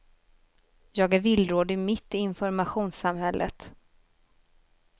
Jag är villrådig mitt i informationssamhället.